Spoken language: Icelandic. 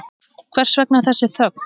Hvers vegna þessi þögn?